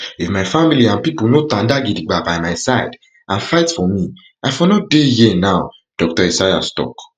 if my family and pipo no tanda gidigba by my side and fight for me i for no dey here now dr esayas tok